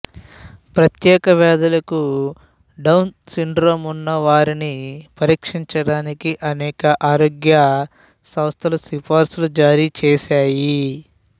ప్రత్యేక వ్యాధులకు Down syndrome ఉన్నవారిని పరీక్షించటానికి అనేక ఆరోగ్య సంస్థలు సిఫార్సులు జారీ చేశాయి